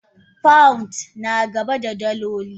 Pounds nagaba da daloli.